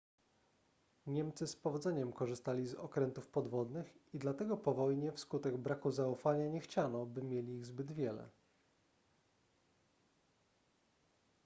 niemcy z powodzeniem korzystali z okrętów podwodnych i dlatego po wojnie wskutek braku zaufania nie chciano by mieli ich zbyt wiele